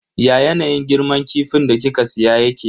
Ya yanayin girman kifin da kika siya yake?